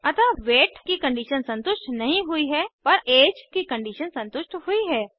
अतः वेट की कंडीशन संतुष्ट नहीं हुई हैपर ऐज की कंडीशन संतुष्ट हुई है